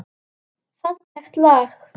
Fallegt lag.